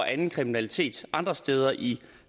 af anden kriminalitet andre steder i